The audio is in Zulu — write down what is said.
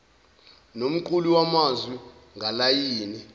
nomqulu wamazwi ngalayini